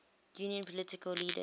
union political leaders